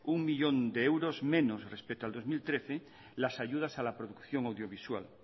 un millón de euros menos respecto a dos mil trece las ayudas a la producción audiovisual